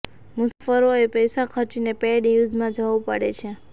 મુસાફ્રોએ પૈસા ખર્ચીને pay and યૂઝમાં જવું પડે છે